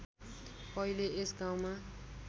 पहिले यस गाउँमा